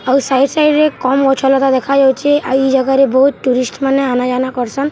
ଆଉ side side ରେ କମ୍‌ ଗଛ ଲତା ଦେଖା ଯାଉଛେ ଆଉ ଇ ଜାଗାରେ ବହୁତ ଟୁରିଷ୍ଟ ମାନେ ଆନା ଜାନା କରସନ୍‌ --